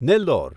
Nellore